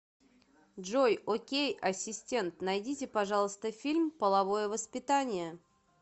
джой окей асистент найдите пожалуйста фильм половое воспитание